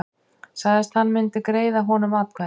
Sagðist hann myndi greiða honum atkvæði